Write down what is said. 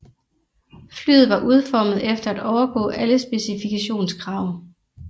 Flyet var udformet efter at overgå alle specifikationskrav